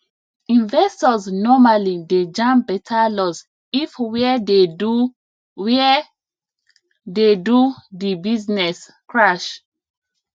investors normally dey jam better loss if where dey do where dey do the business crash